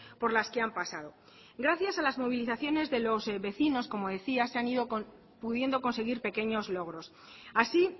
por las que han pasado gracias a las movilizaciones de los vecinos como decía se han ido pudiendo conseguir pequeños logros así